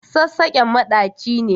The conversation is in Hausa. Sassaƙen maɗaci ne.